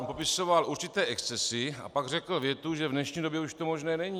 On popisoval určité excesy a pak řekl větu, že v dnešní době už to možné není.